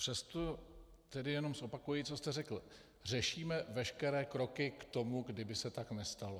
Přesto tedy jenom zopakuji, co jste řekl: Řešíme veškeré kroky k tomu, kdyby se tak nestalo.